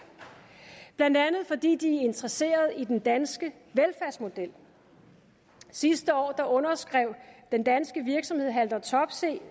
blandt andet fordi de er interesserede i den danske velfærdsmodel sidste år underskrev den danske virksomhed haldor topsøe